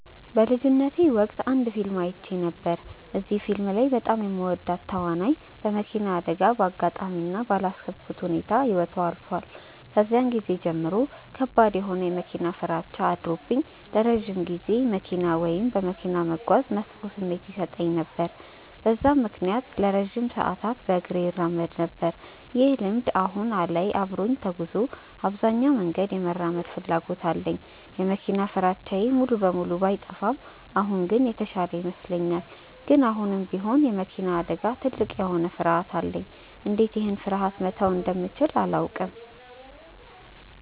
በልጅነቴ ወቅት አንድ ፊልም አይቼ ነበር። እዚህ ፊልም ላይ በጣም የምወዳት ተዋናይ በመኪና አደጋ በአጋጣሚ እና ባላሰብኩት ሁኔታ ህይወቷ ያልፋል። ከዛን ጊዜ ጀምሮ ከባድ የሆነ የመኪና ፍራቻ አድሮብኝ ለረጅም ጊዜ መኪና ወይም በመኪና መጓዝ መጥፎ ስሜት ይሰጠኝ ነበር። በዛም ምክንያት ለረጅም ሰዓታት በእግሬ እራመድ ነበር። ይህ ልምድ በአሁን ላይ አብሮኝ ተጉዞ አብዛኛውን መንገድ የመራመድ ፍላጎት አለኝ። የመኪና ፍራቻዬ ሙሉ በሙሉ ባይጠፋም አሁን ግን የተሻለ ይመስለኛል። ግን አሁንም ቢሆን የመኪና አደጋ ትልቅ የሆነ ፍርሀት አለኝ። እንዴት ይህን ፍርሀቴ መተው እንደምችል አላውቅም።